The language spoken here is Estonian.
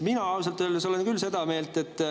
Mina ausalt öeldes olen küll seda meelt …